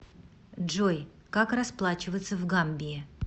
джой как расплачиваться в гамбии